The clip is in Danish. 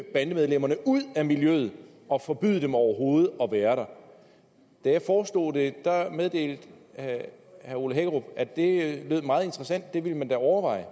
bandemedlemmerne ud af miljøet og forbyder dem overhovedet at være der da jeg foreslog det meddelte herre ole hækkerup at det lød meget interessant og at det ville man da overveje